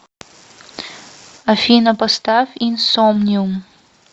афина поставь инсомниум